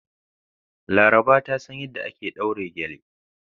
Laraba ta san yadda ake daure gele.